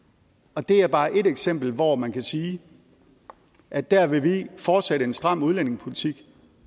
og det er bare ét eksempel hvor man kan sige at der vil vi fortsætte en stram udlændingepolitik